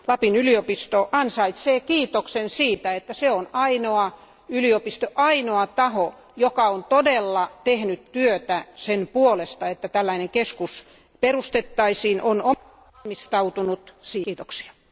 Lapin yliopisto ansaitsee kiitoksen siitä, että se on ainoa yliopisto, ainoa taho, joka on todella tehnyt työtä sen puolesta, että tällainen keskus perustettaisiin, on omistautunut asialle.